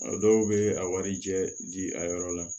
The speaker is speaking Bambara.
A dɔw bɛ a warijɛ di a yɔrɔ la